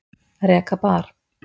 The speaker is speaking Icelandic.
Reka bar